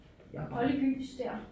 Olde gys der